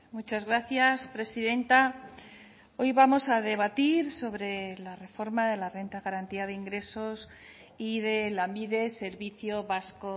muchas gracias presidenta hoy vamos a debatir sobre la reforma de la renta de garantía de ingresos y de lanbide servicio vasco